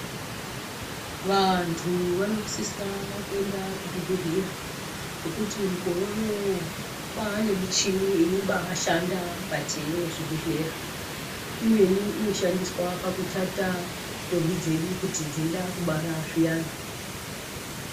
Vantu vanosisa kuenda kuzvi bhedhlera nekuti mukore unowu kwaane muchini inobaa shanda mukati mwezvi bhedhlera imweni ino shandiswa pakutata ntombi dzedu kuti dzeide kubara zviyana.